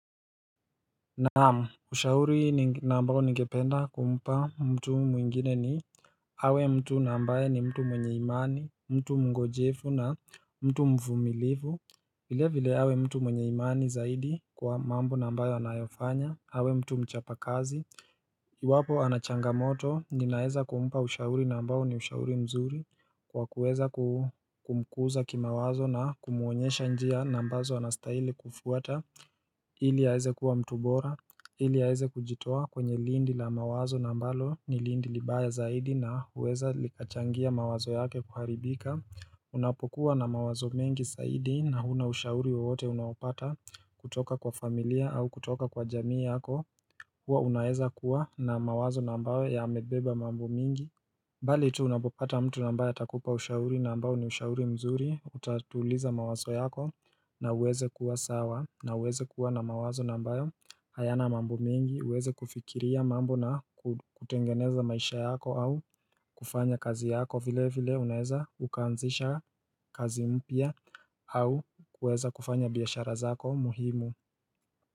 Naam, ushauri nambayo nigependa kumpa mtu mwingine ni awe mtu na ambaye ni mtu mwenye imani, mtu mngojefu na mtu mvumilivu vile vile awe mtu mwenye imani zaidi kwa mambo nambayo anayofanya, awe mtu mchapa kazi Iwapo anachanga moto, ninaeza kumupa ushauri nambayo ni ushauri mzuri Kwa kuweza kumkuza kimawazo na kumuonyesha njia nambazo anastahili kufuata Hili aeze kuwa mtubora Hili yaeze kujitua kwenye lindi la mawazo na mbalo ni lindi libaya zaidi na uweza likachangia mawazo yake kuharibika Unapokuwa na mawazo mengi zaidi na huna ushauri wote unaopata kutoka kwa familia au kutoka kwa jamii yako hua unaeza kuwa na mawazo na ambayo yamebeba mambo mingi Bali tu unapopata mtu na ambaye atakupa ushauri na ambao ni ushauri mzuri Utatuliza mawazo yako na uweze kuwa sawa na uweze kuwa na mawazo na ambayo hayana mambo mingi uweze kufikiria mambo na kutengeneza maisha yako au kufanya kazi yako vile vile unaeza ukaanzisha kazi mpya au kuweza kufanya biashara zako muhimu.